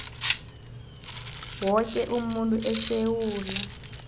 woke umuntu esewula